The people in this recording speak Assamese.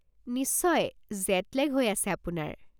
নিশ্চয় জেট লেগ হৈ আছে আপোনাৰ।